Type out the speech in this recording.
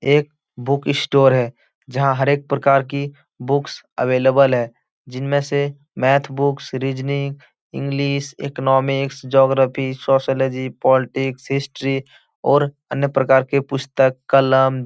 एक book store है जहाँ हर एक प्रकार की बुक्स अवेलेबल है जिनमें से math books reasoning English economics geography sociology politics history और अन्य प्रकार के पुस्तक कलम --